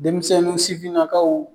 Denmisɛnnin sifinnakaw